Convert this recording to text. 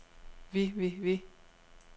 vi vi vi